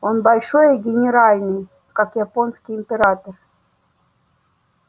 он большой и генеральный как японский император